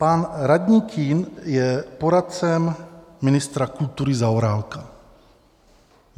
Pan radní Kühn je poradcem ministra kultury Zaorálka.